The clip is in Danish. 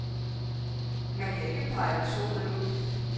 Man kan ikke pejle solen ud.